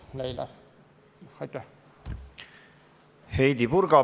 Heidy Purga, palun!